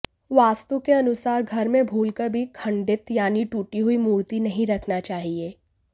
वास्तु के अनुसार घर में भूलकर भी खंडित यानि टूटी हुई मूर्ति नहीं रखना चाहिए